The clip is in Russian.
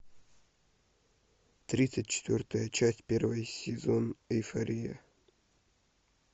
тридцать четвертая часть первый сезон эйфория